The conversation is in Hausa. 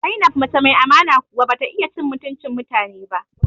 Zainab mace mai amana kuwa bata iya cin mutuncin mutane ba